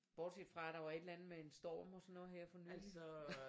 Bortset fra der var et eller andet med en storm og sådan noget her for nylig